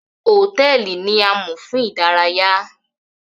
Hotẹẹli ni àmo fun idaraya.